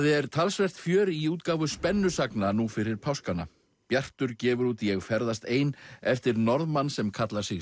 er talsvert fjör í útgáfu nú fyrir páskana bjartur gefur út ég ferðast ein eftir Norðmann sem kallar sig